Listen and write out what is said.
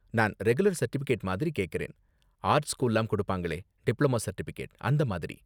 நான் regular certificate மாதிரி கேக்கறேன், ஆர்ட் ஸ்கூல்லலாம் கொடுப்பாங்களே, டிப்ளமா சர்டிபிகேட் அந்த மாதிரி.